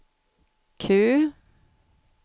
Q